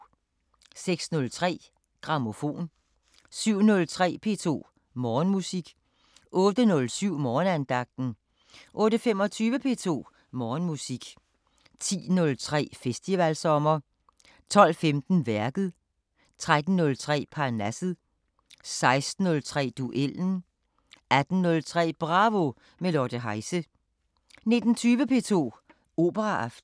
06:03: Grammofon 07:03: P2 Morgenmusik 08:07: Morgenandagten 08:25: P2 Morgenmusik 10:03: Festivalsommer 12:15: Værket 13:03: Parnasset 16:03: Duellen 18:03: Bravo – med Lotte Heise 19:20: P2 Operaaften